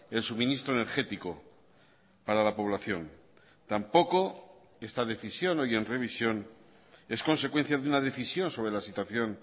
el suministro energético para la población tampoco esta decisión hoy en revisión es consecuencia de una decisión sobre la situación